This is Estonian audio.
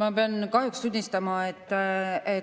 Ma pean kahjuks tunnistama, et